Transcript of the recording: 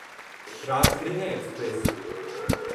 Rajgriha express